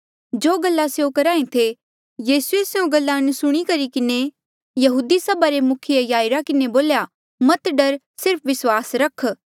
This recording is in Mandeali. जो गल्ला स्यों करेया करहा ऐें थे यीसूए स्यों गल्ला अनसुणी करी किन्हें यहूदी सभा रे मुखिये याईरा किन्हें बोल्या मत डर सिर्फ विस्वास रख